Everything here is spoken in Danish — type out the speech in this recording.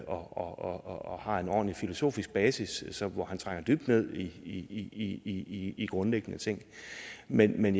og har en ordentlig filosofisk basis hvor han trænger dybt ned i i grundlæggende ting men men